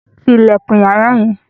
Tí ilẹkun yàrá yẹn!